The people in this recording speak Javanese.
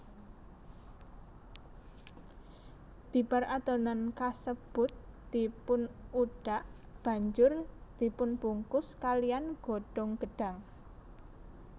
Bibar adonan kasebut dipunudhak banjur dipunbungkus kalihan godhong gedhang